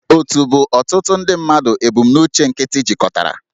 Òtù bụ ọtụtụ ndị mmadụ ebumnuche nkịtị jikọtara